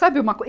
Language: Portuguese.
Sabe uma coi